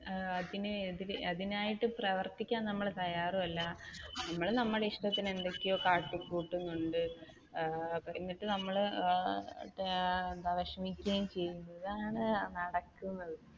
അതിനെഅതിനായിട്ട് പ്രവർത്തിക്കാൻ നമ്മൾ തയ്യാറും അല്ല നമ്മൾ നമ്മുടെ ഇഷ്ടത്തിന് എന്തൊക്കെയോ കാട്ടി കൂട്ടുന്നുണ്ട് ഏർ എന്നിട്ട് നമ്മൾ ഏർ വിഷമിക്കുകയും ചെയ്യുന്നു ഇതാണ് നടക്കുന്നത്.